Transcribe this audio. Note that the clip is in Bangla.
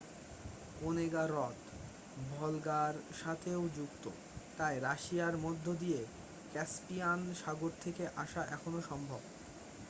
ওনেগা হ্রদ ভলগা-র সাথেও যুক্ত তাই রাশিয়ার মধ্যে দিয়ে ক্যাসপিয়ান সাগর থেকে আসা এখনও সম্ভব